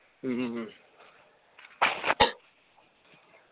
ഉം